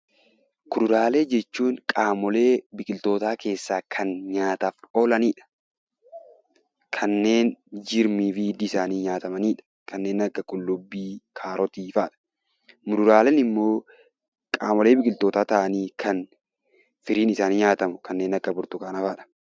Kuduraalee jechuun qaamolee biqiltootaa keessaa kan nyaataaf oolanidha. Kanneen jirmii fi hiddi isaanii nyaatamanidha. Kanneen akka qullubbii, kaarotii fa'a. Muduraaleen immoo qaamolee biqiltootaa ta'anii kan firiin isaanii nyaatamu kanneen akka burtukaanaa fa'adha.